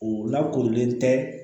O la korilen tɛ